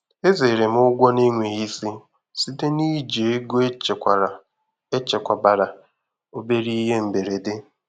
Ezere m ụgwọ na-enweghị isi site na iji ego echekwara echekwabara obere ihe mberede.